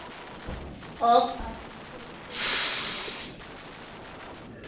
of application for